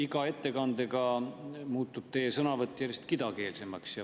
Iga ettekandega muutub teie sõnavõtt järjest kidakeelsemaks.